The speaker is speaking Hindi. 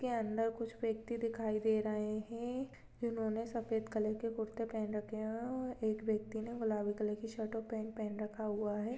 के अंदर कुछ व्यक्ति दिखाई दे रहे हैं जिन्होंने सफेद कलर के कुर्तें पहन रखे हैं और एक व्यक्ति ने गुलाबी रंग की शर्ट और पैंट पहन रखा हुआ है।